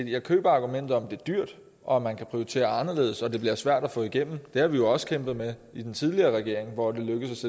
jeg køber argumentet om at det er dyrt og at man kan prioritere anderledes og at det bliver svært at få igennem det har vi jo også kæmpet med i den tidligere regering hvor det lykkedes